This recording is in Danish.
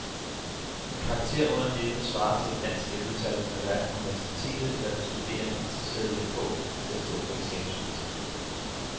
En karakter under det, der svarer til et dansk ellevetal, er hverken universitetet eller den studerende interesseret i at få til at stå på eksamensbeviset.